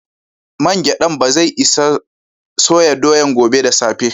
Main giɗan bazai isa soya doyan gobe da safe.